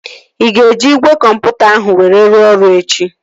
Ị ga-eji igwe kọmputa ahụ were rụọ ọrụ echi?